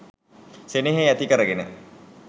සෙනෙහෙ ඇති කරගෙන